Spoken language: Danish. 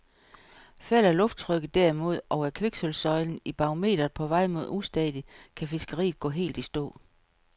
Falder lufttrykket derimod, og er kviksølvsøjlen i barometeret på vej mod ustadigt, kan fiskeriet gå helt i stå.